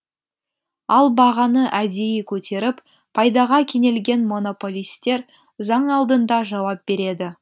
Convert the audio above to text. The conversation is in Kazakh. ал бағаны әдейі көтеріп пайдаға кенелген монополистер заң алдында жауап береді